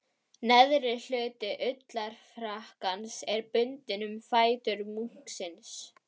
Neðri hluti ullarfrakkans er bundinn um fætur munksins.